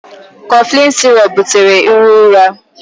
Cofflin sirọp butere iro ụra.